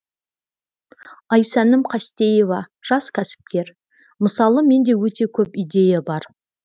айсәнім қастеева жас кәсіпкер мысалы менде өте көп идея бар